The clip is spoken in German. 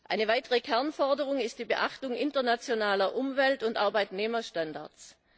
Eine weitere Kernforderung ist die Beachtung internationaler Umwelt und Arbeitnehmerstandards.